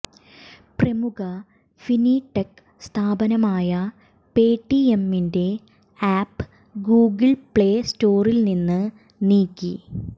പ്രമുഖ ഫിന്ടെക് സ്ഥാപനമായ പേ ടിഎമ്മിന്റെ ആപ്പ് ഗൂഗിള് പ്ലേ സ്റ്റോറില്നിന്ന് നീക്കി